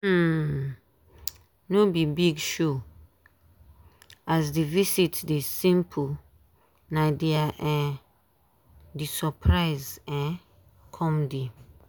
um no be big showas the visit dey simple na dia um the surprise um come dey.